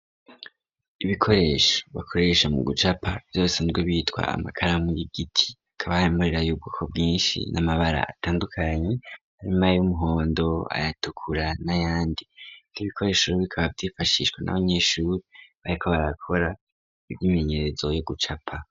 Ibikoresha bakoresha mu gucapa vyosanzwe bitwa amakara muy igiti akabahemurera yubwo ko bwinshi n'amabara atandukanyi aramayyo umuhondo ayatukura na yandi nka ibikoreshoro bikaba vyifashishwa n'abanyeshuri bayeko barakora ivyo imenyerezo yo gucapa.